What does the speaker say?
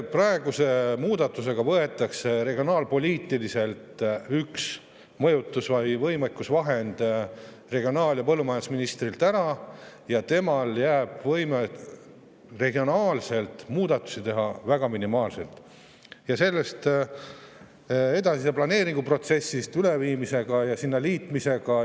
Praeguse muudatusega võetakse üks regionaalpoliitika mõjutusvahend või võime regionaal- ja põllumajandusministrilt ära ja temale jääb väga minimaalne võime regionaalseid muudatusi teha.